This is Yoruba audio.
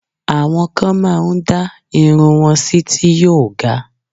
Àwọn kan máá ń dá irun wọn sí ti yóò ga